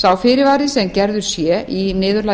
sá fyrirvari sem gerður sé í niðurlagi